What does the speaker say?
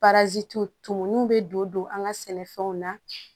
tumuw bɛ don don an ka sɛnɛfɛnw na